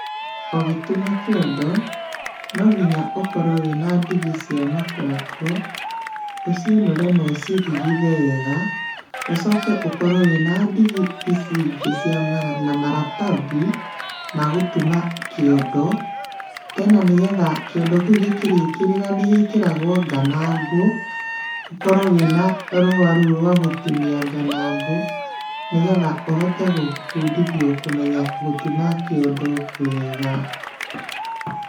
Ũgĩtuma kĩondo, no nginya ũkorwo wĩ na ndigi cia makongo. Ũciũnũre na ũcirigithe wega, ũcoke ũkorwo wĩna ndigi ici ingĩ cia mara na maratathi, ma gũtuma kĩondo. Tena nĩgetha kĩondo kĩu gĩkĩrĩkĩrĩra nĩgĩkĩragũo nganangũ, ũkorwo wĩnarũa rũu rwa gũtinia nganangũ, nĩgetha ũhote gũbundithio kũmenya gũtuma kĩondo wega.